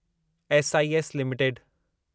SIS limited